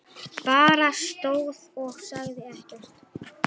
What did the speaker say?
Bara stóð og sagði ekkert.